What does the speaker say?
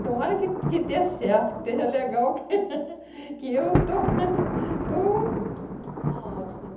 Tomara que que dê certo, que esteja legal, que eu estou, estou... Está ótimo.